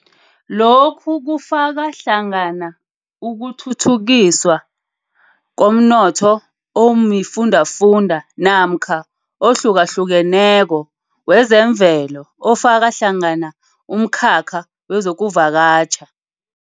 Lokhu kufaka hlangana ukuthuthukiswa komnotho omifundafunda namkha ohlukahlukeneko wezemvelo ofakahlangana umkhakha wezokuvakatjha.